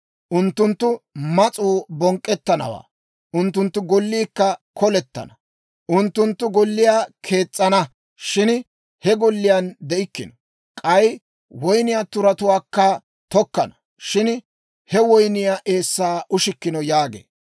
Unttunttu mas'uu bonk'k'ettanawaa; unttunttu golliikka kolettana. Unttunttu golliyaa kees's'ana, shin he golliyaan de'ikkino; k'ay woyniyaa turatuwaakka tokkana, shin he woyniyaa eessaa ushikkino» yaagee.